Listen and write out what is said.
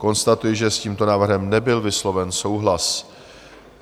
Konstatuji, že s tímto návrhem nebyl vysloven souhlas.